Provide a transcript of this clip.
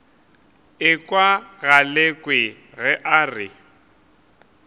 ekwa galekwe ge a re